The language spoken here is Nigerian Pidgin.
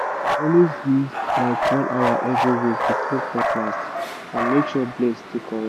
always use like one hour every week to clean cutlass and make sure blade still correct